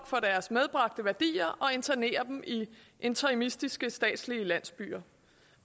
for deres medbragte værdier og internere dem i interimistiske statslige landsbyer